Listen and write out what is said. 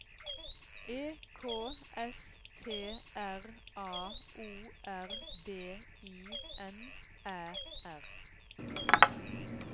E K S T R A O R D I N Æ R